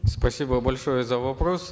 спасибо большое за вопрос